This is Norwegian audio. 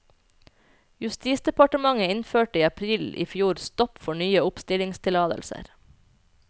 Justisdepartementet innførte i april i fjor stopp for nye oppstillingstillatelser.